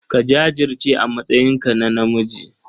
Ka jajirce a matsayinka na namiji.